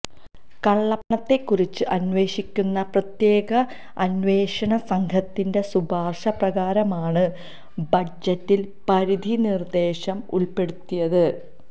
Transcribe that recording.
കള്ളപ്പണത്തെക്കുറിച്ച് അന്വേഷിക്കുന്ന പ്രത്യേക അന്വേഷണസംഘത്തിന്റെ ശുപാര്ശ പ്രകാരമാണ് ബജറ്റില് പരിധിനിര്ദേശം ഉള്പ്പെടുത്തിയത്